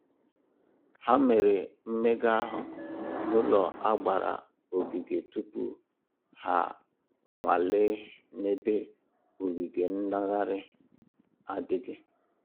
Ha mere mmega ahụ n'ụlọ a gbara ogige tupu ha a nwalee n'ebe ogige ngaghari adịghị